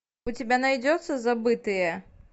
у тебя найдется забытые